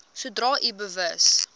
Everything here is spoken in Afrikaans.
sodra u bewus